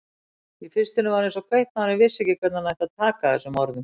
Í fyrstunni var eins og kaupmaður vissi ekki hvernig hann ætti að taka þessum orðum.